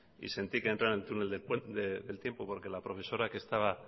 y sentí que entré en el túnel del tiempo porque la profesora que estaba